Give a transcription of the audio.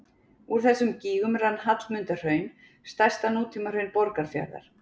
Úr þessum gígum rann Hallmundarhraun, stærsta nútímahraun Borgarfjarðar.